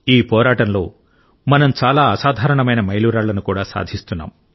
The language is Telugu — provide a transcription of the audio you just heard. ఈ పోరాటంలో మనం చాలా అసాధారణమైన మైలురాళ్లను కూడా సాధిస్తున్నాం